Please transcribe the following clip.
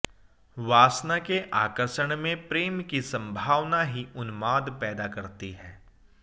वासना के आकषर्ण में प्रेम की संभावना ही उन्माद पैदा करती है